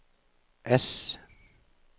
S